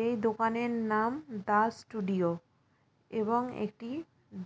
এই দোকান এর নাম দাস ষ্টুডিও এবং একটি